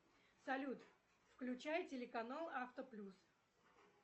салют включай телеканал авто плюс